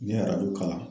N ye arabu kalan